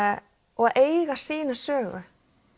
og að eiga sínu sögu